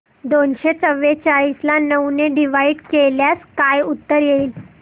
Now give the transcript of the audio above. दोनशे चौवेचाळीस ला नऊ ने डिवाईड केल्यास काय उत्तर येईल